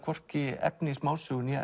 efni í smásögu né